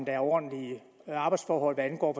er ordentlige arbejsdforhold hvad angår